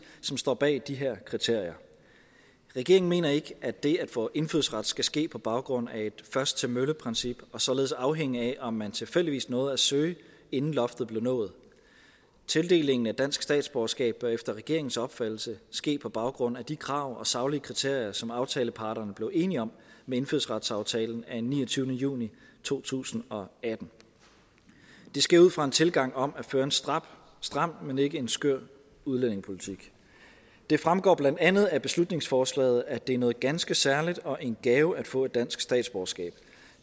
som står bag de her kriterier regeringen mener ikke at det at få indfødsret skal ske på baggrund af et først til mølle princip og således afhænge af om man tilfældigvis nåede at søge inden loftet blev nået tildelingen af dansk statsborgerskab bør efter regeringens opfattelse ske på baggrund af de krav og saglige kriterier som aftaleparterne blev enige om med indfødsretsaftalen af niogtyvende juni to tusind og atten det sker ud fra en tilgang om at føre en stram stram men ikke en skør udlændingepolitik det fremgår blandt andet af beslutningsforslaget at det er noget ganske særligt og en gave at få et dansk statsborgerskab